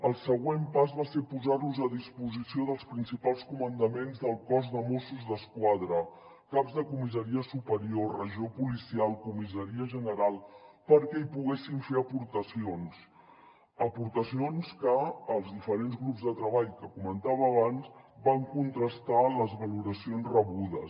el següent pas va ser posar los a disposició dels principals comandaments del cos de mossos d’esquadra caps de comissaria superior regió policial comissaria general perquè hi poguessin fer aportacions aportacions que els diferents grups de treball que comentava abans van contrastar amb les valoracions rebudes